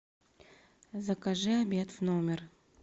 закажи обед в номер